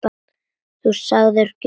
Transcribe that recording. Þú sagðir: Gjörðu svo vel.